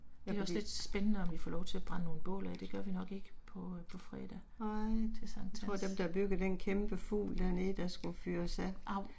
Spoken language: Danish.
Det er lidt. Nej. Jeg tror dem der har bygget den kæmpe fugl dernede der skulle fyres af